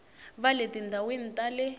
va le tindhawini ta le